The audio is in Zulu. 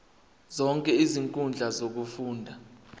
zonke izinkundla zokufunda